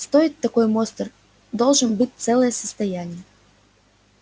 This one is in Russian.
стоить такой монстр должен был целое состояние